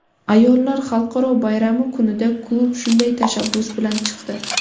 Ayollar xalqaro bayrami kunida klub shunday tashabbus bilan chiqdi.